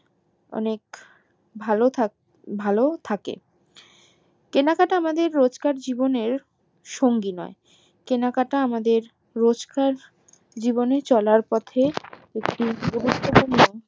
অনেক ভালো ভালো থাকে কেনাকাটা আমাদের রোজকার জীবননের সঙ্গী নয় কেনাকাটা আমাদের রোজকার জিব্প্নে চলার পথে